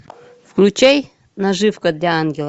включай наживка для ангела